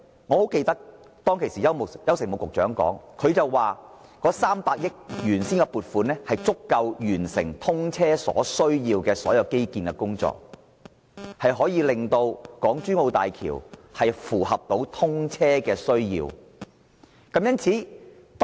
我記得當時的邱誠武副局長表示，原本的300億元撥款足以完成通車所需的所有基建項目，令港珠澳大橋得以應付通車需要。